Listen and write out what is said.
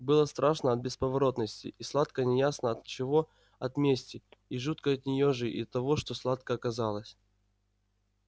было страшно от бесповоротности и сладко неясно от чего от мести и жутко от неё же и от того что сладко оказалось